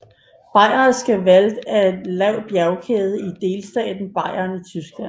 Bayerischer Wald er en lav bjergkæde i delstaten Bayern i Tyskland